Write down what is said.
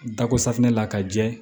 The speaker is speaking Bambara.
Dako safunɛ la ka jɛ